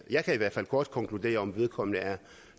jeg i hvert fald godt konkludere om vedkommende er